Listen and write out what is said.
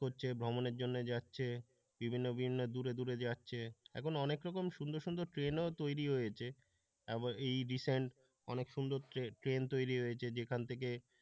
হচ্ছে ভ্রমণের জন্য যাচ্ছে বিভিন্ন দূরে দূরে যাচ্ছে এখনো অনেক রকম সুন্দর সুন্দর ট্রেনও তৈরি হয়েছে তারপর এই রিসেন্ট অনেক সুন্দর ট্রেন তৈরি হয়েছে। যেখান থেকে,